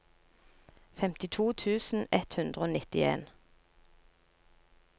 femtito tusen ett hundre og nittien